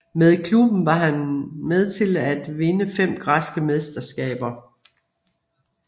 Med klubben var han med til at vinde fem græske mesterskaber